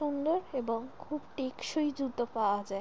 এবং খুব টেকসই জুতো পাওয়া যায়।